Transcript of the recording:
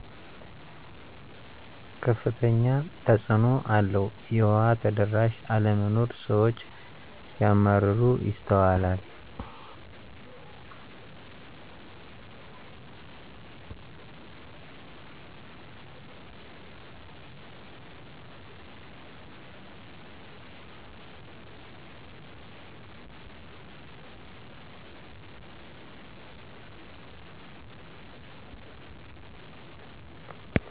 ከፍተኛ ተፅእኖ አለው የዉሃ ተደራሽ አለመኖር ስዎች ሲያማረሩ ይስተዋላል